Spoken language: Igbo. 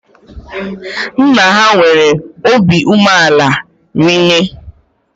Nna ha nwere óbị umeala rinne